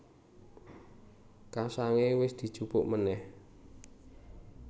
Kasangé wis dijupuk manèh